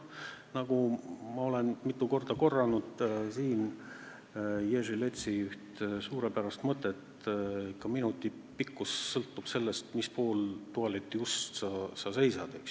Ma olen mitu korda siin korranud Jerzy Leci üht suurepärast mõtet: ka minuti pikkus sõltub sellest, kummal pool tualetiust sa oled.